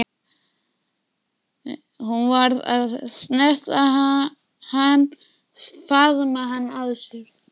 Hún varð að snerta hann, faðma hann að sér.